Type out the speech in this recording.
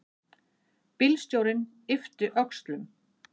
Bílstjórinn yppti öxlum.